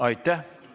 Aitäh!